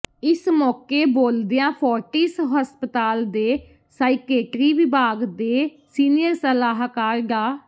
ਇਸ ਮੌਕੇ ਬੋਲਦਿਆਂ ਫੋਰਟਿਸ ਹਸਪਤਾਲ ਦੇ ਸਾਈਕੇਟਰੀ ਵਿਭਾਗ ਦੇ ਸੀਨੀਅਰ ਸਲਾਹਕਾਰ ਡਾ